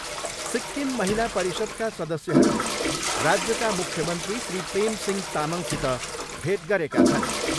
सिक्किम महिला परिषदका सदस्यहरूले राज्यका मुख्यमन्त्री श्री प्रेम सिंह तामङसित भेट गरेका छन्।